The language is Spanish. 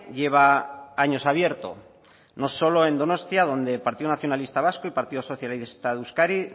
lleva años abierto no solo en donostia donde el partido nacionalista vasco y el partido socialista